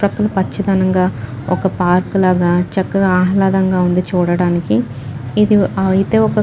పక్కన పచ్చితనంగా ఒక్క పార్క్ లాగా చెక్కగా ఆహ్లాదంగా ఉంది చూడటానికి ఇధి అయితే ఒక్క --